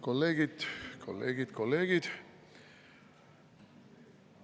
Kolleegid, kolleegid, kolleegid!